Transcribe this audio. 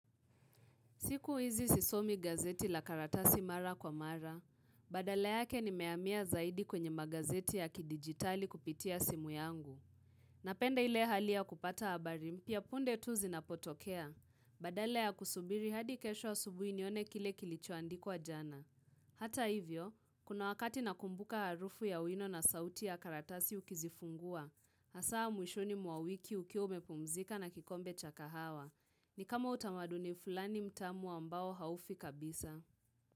Siku hizi sisomi gazeti la karatasi mara kwa mara, badala yake nimehamia zaidi kwenye magazeti ya kidigitali kupitia simu yangu. Napenda ile hali ya kupata habari mpya punde tu zinapotokea, badala ya kusubiri hadi kesho ausubuhi nione kile kilichoandikwa jana. Hata hivyo, kuna wakati nakumbuka harufu ya wino na sauti ya karatasi ukizifungua, Hasaa mwishoni mwa wiki ukiwa umepumzika na kikombe cha kahawa. Ni kama utamaduni fulani mtamu ambao haufi kabisa.